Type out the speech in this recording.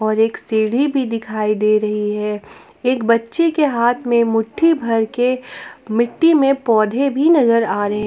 और एक सीढ़ी भी दिखाई दे रही है एक बच्चे के हाथ में मुट्ठी भर के मिट्टी में पौधे भी नजर आ रहे --